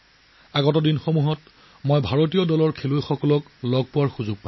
অনাগত দিনত মইও ভাৰতীয় দলক লগ পোৱাৰ সুযোগ পাম